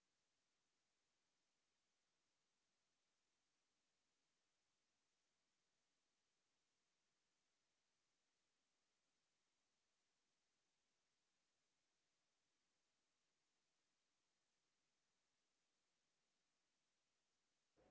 to